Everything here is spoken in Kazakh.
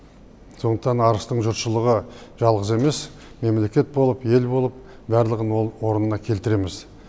сондықтан арыстың жұртшылығы жалғыз емес мемлекет болып ел болып барлығын орнына келтіреміз